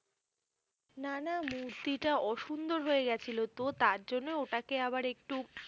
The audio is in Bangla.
না না মূর্তিটা অসুন্দর হয়েগেছিল তোহ তার জন্যে তাকে আবার একটু